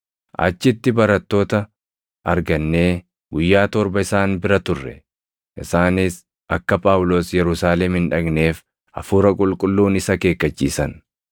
Achitti barattoota argannee guyyaa torba isaan bira turre. Isaanis akka Phaawulos Yerusaalem hin dhaqneef Hafuura Qulqulluun isa akeekkachiisan.